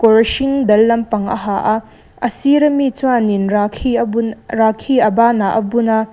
kawr hring dal lampang a ha a a sir ami chuanin rakhi a bun rakhi a banah a bun a--